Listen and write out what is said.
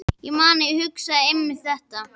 Ég man að ég hugsaði einmitt þetta.